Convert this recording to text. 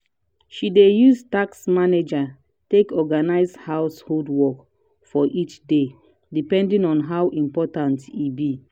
she dey use task manager take organize household work for each day depending on how important e be.